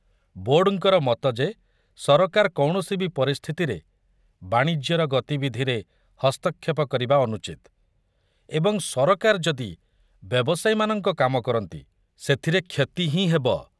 ବୋର୍ଡ଼ଙ୍କର ମତ ଯେ ସରକାର କୌଣସି ବି ପରିସ୍ଥିତିରେ ବାଣିଜ୍ୟର ଗତିବିଧିରେ ହସ୍ତକ୍ଷେପ କରିବା ଅନୁଚିତ ଏବଂ ସରକାର ଯଦି ବ୍ୟବସାୟୀମାନଙ୍କ କାମ କରନ୍ତି ସେଥିରେ କ୍ଷତି ହିଁ ହେବ।